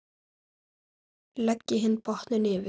Leggið hinn botninn yfir.